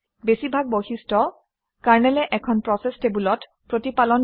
বেছিভাগ বৈশিষ্ট্য কাৰনেলে এখন প্ৰচেচ টেবুলত প্ৰতিপালন কৰে